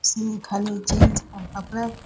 इसमें खाली जेंट्स का कपड़ा --